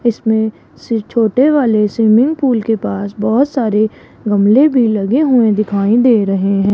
इसमें से छोटे वाले स्विमिंग पूल के पास बहोत सारे गमले भी लगे हुए दिखाई दे रहे हैं।